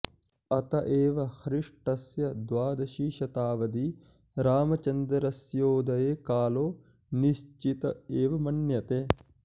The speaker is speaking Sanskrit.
अत एव ख्रीष्टस्य द्वादशी शताब्दी रामचन्द्रस्योदयकालो निश्चित एव मन्यते